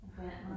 Og vandet